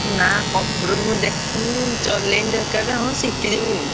ନା computer ମୁଁ ଦେଖିନି ଚଳେଇନି ତ କେବେ ହଁ ଶିଖିଯିବିନି।